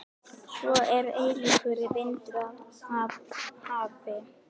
Svo er eilífur vindur af hafi.